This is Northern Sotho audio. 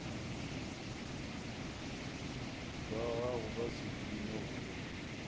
ba gago ba sedimo o